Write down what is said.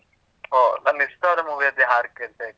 ಒಹ್, ನನ್ನ್ ಇಷ್ಟ್ವಾದ movie ಅದ್ದೆ ಹಾಡ್ ಕೇಳ್ತಾ ಇದ್ರಿ.